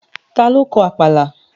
Ta ló kọ Àpàlà?